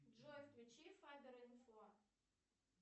джой включи фабер инфо